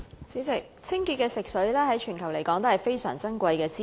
主席，清潔的食水，在全球來說都是非常珍貴的資源。